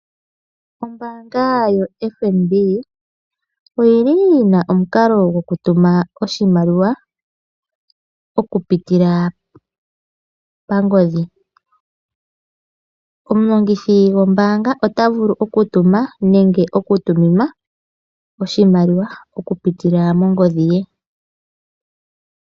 Ombaanga yoFNB oyili yina omukalo goku tuma oshimaliwa oku pitila kongodhi. Omulongithi gwombaanga ota vulu oku tuma nenge oku tuminwa oshimaliwa oku pitila mongodhi ye.